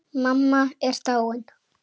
Mamma er dáin.